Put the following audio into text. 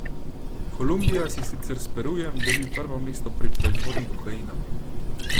Kolumbija si sicer s Perujem deli prvo mesto pri proizvodnji kokaina.